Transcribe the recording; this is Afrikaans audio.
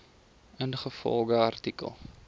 ingevolge artikel